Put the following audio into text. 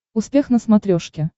успех на смотрешке